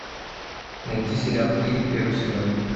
найти сериал кири первый сезон